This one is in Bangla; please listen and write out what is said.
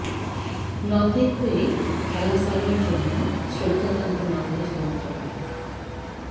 নঁতের হয়ে খেলা সালার জন্য শ্রদ্ধা জানাতে নতেঁ সমর্থকরা